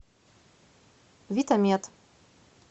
витамед